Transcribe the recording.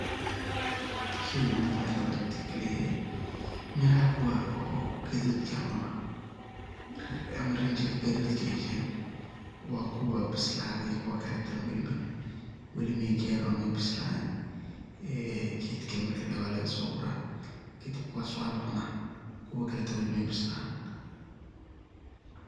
Sheygan ani waxan kabarti kaliye miraha kuwa oo gadudki ama rinjiga gadudki keena wakuwa bisladhey kuwa kaletana wali may garin oo ma bislanin ee gedka marki ladahay walagasogura kadiib kuwas walucuna kuwa kale weli maybis lanin.